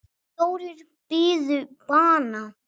Fjórir biðu bana.